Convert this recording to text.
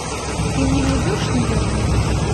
ты мне найдешь неверные